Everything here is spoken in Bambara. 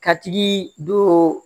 Ka tigi don